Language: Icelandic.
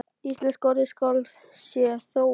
Íslenska orðið skál sé þó ná